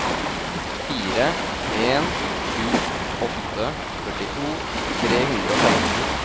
fire en sju åtte førtito tre hundre og femten